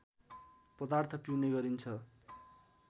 पदार्थ पिउने गरिन्छ